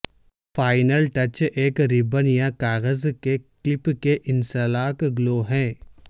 final touch ایک ribbon یا کاغذ کے کلپ کے انسلاک گلو ہے